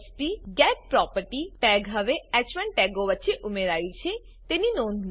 jspgetProperty tag હવે હ1 ટેગો વચ્ચે ઉમેરાયુ છે તેની નોંધ લો